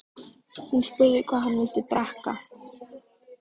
Hún spurði hvað hann vildi drekka.